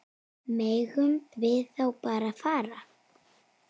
Megum við þá bara fara?